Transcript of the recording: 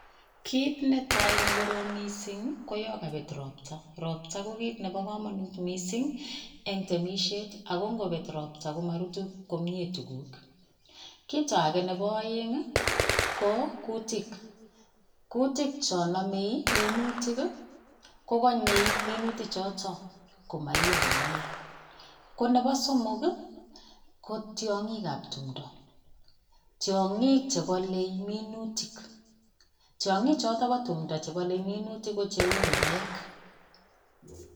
Kiit netai nekorom mising koyon kobet robtaa, robtaa ko kiit nebo komonut mising en temisiet ako ng'obet robtaa komorutu komie tukuk, kiit akee nebo oeng ko kutik, kutik chon nomei minutik kokonyee minuti choton komoiyo komiee, ko nebo somok ii kotiong'ikab timdo, tiong'ik chebole minutik, tiong'ik choton chebo timndo chebole minutik ko cheuu murek.